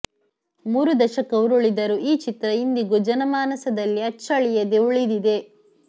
ಮೂರು ದಶಕ ಉರುಳಿದರೂ ಈ ಚಿತ್ರ ಇಂದಿಗೂ ಜನಮಾನಸದಲ್ಲಿ ಅಚ್ಚಳಿಯದೆ ಉಳಿದಿದೆ